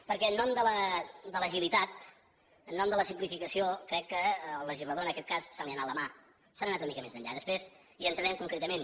perquè en nom de l’agilitat en nom de la simplificació crec que al legislador en aquest cas se li ha anat la mà se n’ha anat una mica més enllà després hi entrarem concretament